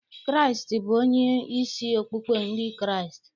Kraịstị bụ onyeisi okpukpe ndị Kraịstị.